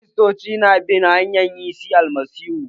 Kiristoci su na bin hanyan Yesu Almasihu.